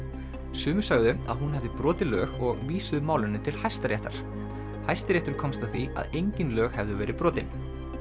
sumir sögðu að hún hefði brotið lög og vísuðu málinu til Hæstaréttar Hæstiréttur komst að því að engin lög hefðu verið brotin